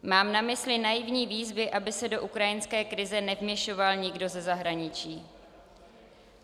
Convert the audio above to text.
Mám na mysli naivní výzvy, aby se do ukrajinské krize nevměšoval nikdo ze zahraničí.